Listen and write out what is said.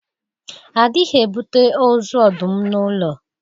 A dịghị ebute ọzu ọdụm n’ụlọ